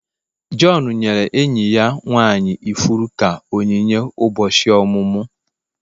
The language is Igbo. John nyere enyi ya nwanyị ifuru ka onyinye ụbọchị ọmụmụ.